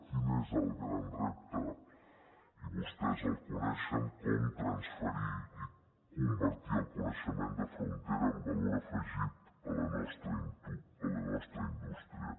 quin és el gran repte i vostès el coneixen com transferir i convertir el coneixement de frontera en valor afegit a la nostra indústria